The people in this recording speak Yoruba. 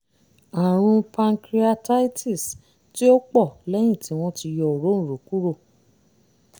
àrùn pancreatitis tí ó pọ̀ lẹ́yìn tí wọ́n ti yọ òróǹro kúrò